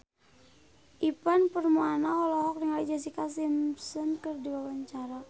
Ivan Permana olohok ningali Jessica Simpson keur diwawancara